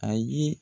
A ye